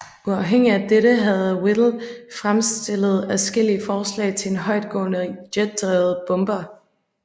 Uafhængigt af dette havde Whittle fremstillet adskillige forslag til en højtgående jetdrevet bomber